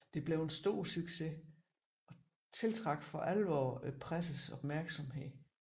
Det blev en stor succes og tiltrak for alvor pressens opmærksomhed